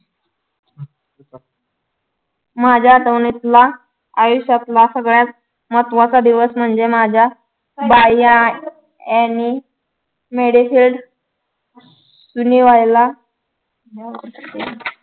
माझ्या आठवणीतला आयुष्यातला सगळ्यात महत्वाचा दिवस म्हणजे माझ्या anymedical